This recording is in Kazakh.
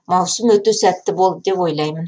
маусым өте сәтті болды деп ойлаймын